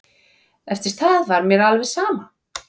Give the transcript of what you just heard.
Eftir það var mér alveg sama.